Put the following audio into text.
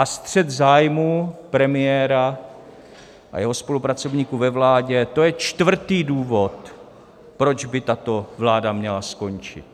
A střet zájmů premiéra a jeho spolupracovníků ve vládě, to je čtvrtý důvod, proč by tato vláda měla skončit.